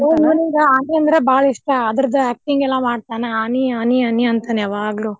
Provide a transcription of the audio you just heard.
ಇವ್ನಿಗ ಆನಿ ಅಂದ್ರ್ ಬಾಳ ಇಷ್ಟಾ ಅಡ್ರರ್ದ acting ಎಲ್ಲಾ ಮಾಡ್ತಾನ ಆನಿ ಆನಿ ಆನಿ ಅಂತಾನ ಯಾವಾಗ್ಲೂ.